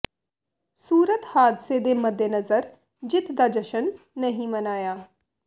ਸੂਰਤ ਹਾਦਸੇ ਦੇ ਮੱਦੇਨਜ਼ਰ ਜਿੱਤ ਦਾ ਜਸ਼ਨ ਨਹੀਂ ਮਨਾਇਆ